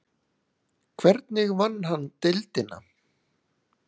Hvernig vann hann deildina?